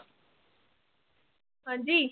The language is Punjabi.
ਹਾਂਜੀ